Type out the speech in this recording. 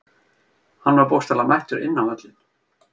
Hann var bókstaflega mættur inn á völlinn.